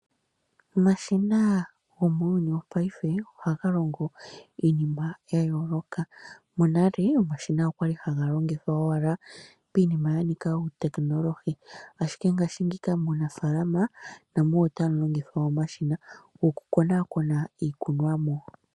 Omashina gomuuyuni wopaife ohaga longo iinima ya yooloka. Monale omashina okwali haga longithwa owala piinima ya nika uuteknolohi , ashike ngaashingeyi muunafaalama namo otamu longithwa omashina gokukonakona iikunomwa.